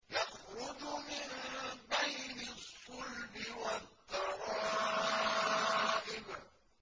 يَخْرُجُ مِن بَيْنِ الصُّلْبِ وَالتَّرَائِبِ